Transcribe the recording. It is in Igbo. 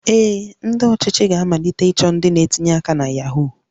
Ee, ndị ọchịchị ga-amalite ịchọ ndị na-etinye aka na Yahoo